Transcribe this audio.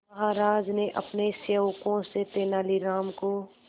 महाराज ने अपने सेवकों से तेनालीराम को